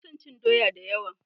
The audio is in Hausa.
Ina son cin doya da yawa.